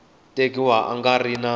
tekiwa a nga ri na